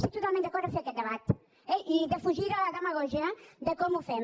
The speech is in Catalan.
estic totalment d’acord a fer aquest debat eh i defugir la demagògia de com ho fem